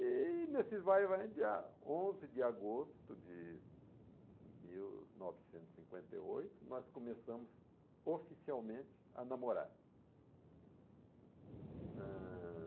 E nesse vai e vai, dia onze de agosto de mil novecentos e cinquenta e oito, nós começamos oficialmente a namorar. Ãh...